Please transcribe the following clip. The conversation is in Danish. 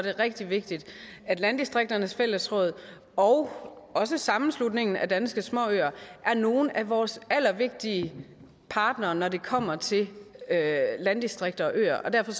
er rigtig vigtigt at landdistrikternes fællesråd og også sammenslutningen af danske småøer er nogle af vores allervigtigste partnere når det kommer til landdistrikter og øer og derfor